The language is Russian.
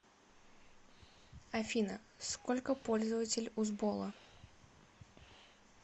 афина сколько пользователь у сбола